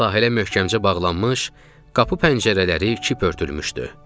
Sahilə möhkəmcə bağlanmış, qapı pəncərələri kip örtülmüşdü.